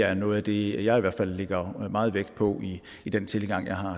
er noget af det jeg i hvert fald lægger meget vægt på i den tilgang jeg har